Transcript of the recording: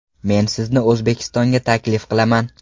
Men sizni O‘zbekistonga taklif qilaman.